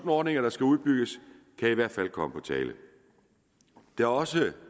ordninger der skal udbygges kan i hvert fald komme på tale det er også